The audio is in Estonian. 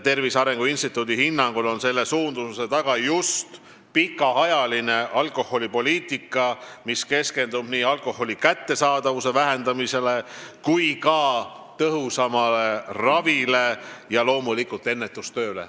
Tervise Arengu Instituudi hinnangul on selle suundumuse taga pikaajaline alkoholipoliitika, mis keskendub nii alkoholi kättesaadavuse vähendamisele kui ka tõhusamale ravile ja loomulikult ennetustööle.